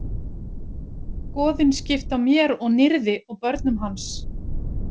Goðin skiptu á mér og Nirði og börnum hans.